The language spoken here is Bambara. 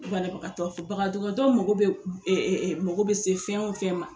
Banabagatɔ mago bɛ se fɛn o fɛn ma.